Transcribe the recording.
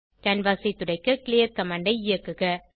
canvas ஐ துடைக்க clear command ஐ இயக்குக